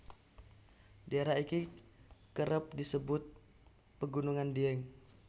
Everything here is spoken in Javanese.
Daerah iki kerep disebut pegunungan Dieng